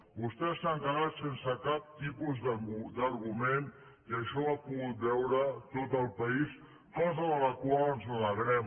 vostès s’han quedat sense cap tipus d’argument i això ho ha pogut veure tot el país cosa de la qual ens alegrem